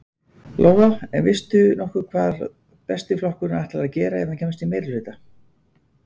Lóa: En veistu nokkuð hvað Besti flokkurinn ætlar að gera, ef hann kemst í meirihluta?